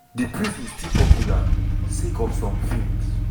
di prison still popular sake of some films.